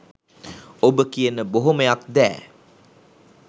ඔබ කියන බොහොමයක් දෑ